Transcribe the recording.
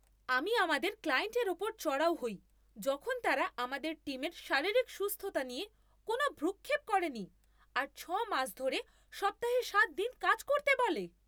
আমি আমাদের ক্লায়েন্টের ওপর চড়াও হই যখন তারা আমাদের টিমের শারীরিক সুস্থতা নিয়ে কোনো ভ্রূক্ষেপ করেনি, আর ছয় মাস ধরে সপ্তাহে সাত দিন কাজ করতে বলে